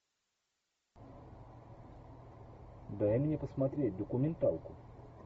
дай мне посмотреть документалку